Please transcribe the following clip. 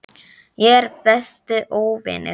Ég er versti óvinur þinn.